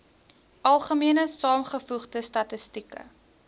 algemene saamgevoegde statistieke